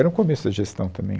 Era o começo da gestão também.